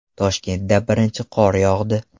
Toshkentda birinchi qor yog‘di.